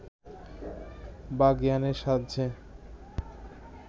বা জ্ঞানের সাহায্যে